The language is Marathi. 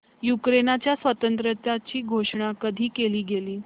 युक्रेनच्या स्वातंत्र्याची घोषणा कधी केली गेली